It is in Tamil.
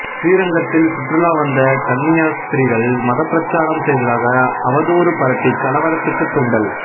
சிறீரங்கத்தில் சுற்றுலா வந்த கன்னியாஸ்திரிகள் மதப்பிரச்சாரம் செய்ததாக அவதூறு பரப்பி கலவரத்துக்கு தூண்டல்